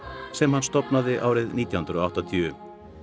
sem hann stofnaði árið nítján hundruð og áttatíu